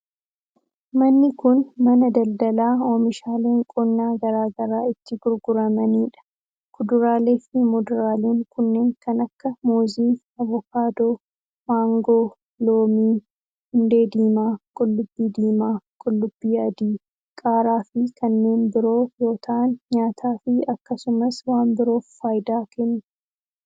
Manni kun, mana daldalaa oomishaaleen qonnaa garaa garaa itti gurguramanii dha. Kuduraalee fi muduraaleen kunneen kan akka:muuzii, avokaadoo, maangoo, loomii, hundee diimaa, qullubbii diimaa, qullubbii adii, qaaraa fi kanneen biroo yoo ta'an nyaataa fi akkasumas waan biroof faayidaa kennu.